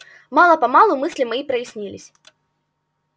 мало-помалу мысли мои прояснились